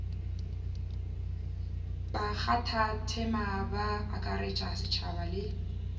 bakgathatema ba akaretša setšhaba le